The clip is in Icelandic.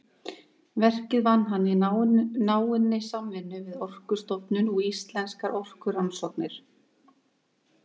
Verkið vann hann í náinni samvinnu við Orkustofnun og Íslenskar orkurannsóknir.